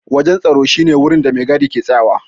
Wajen tsaro shi ne wurin da maigadi ke tsayawa.